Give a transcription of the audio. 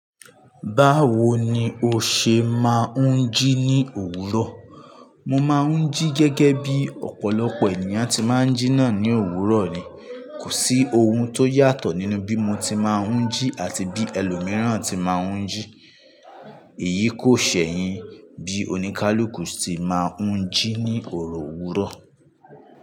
Báwo ni o ṣe máa ń jí ní òwúrọ̀? Mo máa ń jí gẹ́gẹ́ bí ọ̀pọ̀lọpọ̀ ènìyàn tí máa ń jí náà ní òwúrọ̀ ni. Kò sí ohun tó yàtọ̀ nínú bí mo ti máa ń jí àti bí ẹlòmíràn ti máa ń jí. Èyí kò ṣẹ̀yìn bí oníkálukú ti máa ń jí ní òrò òwúrọ̀